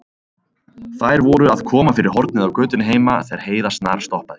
Þær voru að koma fyrir hornið á götunni heima þegar Heiða snarstoppaði.